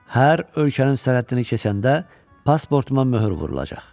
Hər ölkənin sərhəddini keçəndə pasportuma möhür vurulacaq.